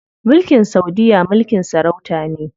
Mulkin saudiya mulkin sarauta ne.